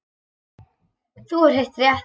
Þú hefur heyrt rétt.